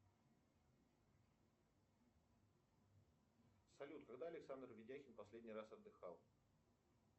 салют когда александр ведяхин последний раз отдыхал